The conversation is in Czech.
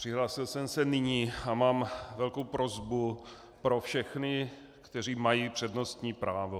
Přihlásil jsem se nyní a mám velkou prosbu na všechny, kteří mají přednostní právo.